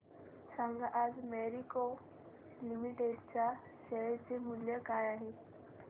सांगा आज मॅरिको लिमिटेड च्या शेअर चे मूल्य काय आहे